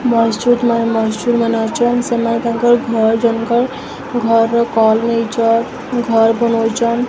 ମସ୍ ଜୁଦ୍ ମାନ୍ ମସ୍ ଜୁର୍ ମାନେ ଅଚନ୍ ସେମାନେ ତାଙ୍କର ଘର୍ ଜନଙ୍କର୍ ଘର୍ ର କଲ୍ ନେଇଚନ୍ ଘର୍ ବନଉଚନ୍।